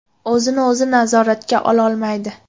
O‘zini-o‘zi nazoratga ololmaydi.